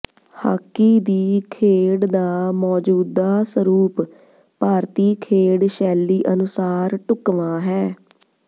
hockey ਦੀ ਖੇਡ ਦਾ ਮੌਜੂਦਾ ਸਰੂਪ ਭਾਰਤੀ ਖੇਡ ਸ਼ੈਲੀ ਅਨੁਸਾਰ ਢੁੱਕਵਾਂ ਹੈ